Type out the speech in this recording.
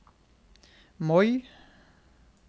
Moi